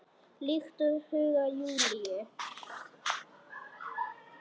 Líkt og í huga Júlíu.